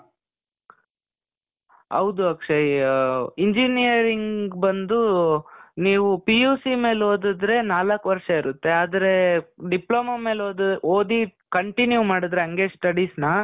ಹೌದು ಅಕ್ಷಯ್. ಆ, engineering ಬಂದೂ ನೀವು PUC ಮೇಲ್ ಓದಿದ್ರೆ ನಾಲಕ್ ವರ್ಷ ಇರುತ್ತೆ. ಆದ್ರೇ, ಡಿಪ್ಲೋಮಾ ಮೇಲೆ ಓದ್ ಓದಿ continue ಮಾಡಿದ್ರೆ ಅಂಗೆ studies ನಾ